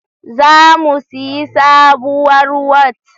Za mu siyi sabuwar Wat